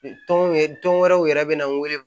Tɔn ye tɔn wɛrɛw yɛrɛ bɛ na n wele